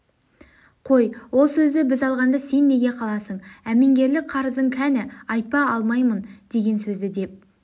қой ол сөзді біз алғанда сен неге қаласың әмеңгерлік қарызың кәні айтпа алмаймын деген сөзді деп